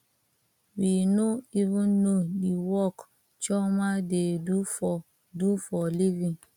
we no even know the work chioma dey do for do for living